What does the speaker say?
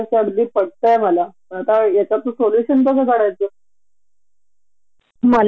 हो ना एक ह्युमन राइट म्हण किंवा ईव्हन एम्पोयेर राइट म्हण आपल्याला ते नेहमीच डावलल्या जातात.